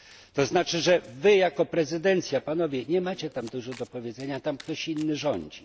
To znaczy, że Wy jako prezydencja Panowie nie macie tam dużo do powiedzenia, tam ktoś inny rządzi.